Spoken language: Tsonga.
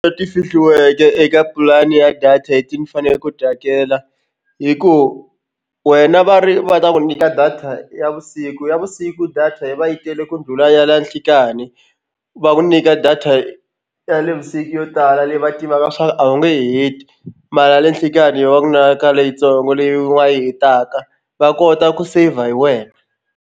Leti fihliweke eka pulani ya data leti ni faneleke ku ti hakela i ku wena va ri va ta ku nyika data ya vusiku ya vusiku data yi va yi tele ku ndlhula ya la nhlikani va ku nyika data ya nivusiku yo tala leyi va tivaka swa ku a wu nge heti mara a le nhlikani yo va na ka leyitsongo leyi u nga yi hetaka va kota ku seyivha hi wena.